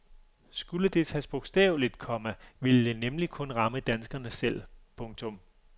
Skulle det tages bogstaveligt, komma ville det nemlig kun ramme danskerne selv. punktum